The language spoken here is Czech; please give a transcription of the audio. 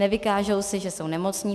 Nevykáže se, že jsou nemocní.